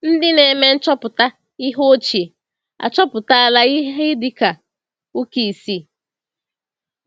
Ndị na-eme nchọpụta ihe ochie achọpụtala ihe dị ka ụka isii.